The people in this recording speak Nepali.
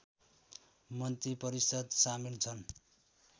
मन्त्रिपरिषद सामिल छन्